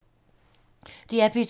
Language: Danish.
DR P2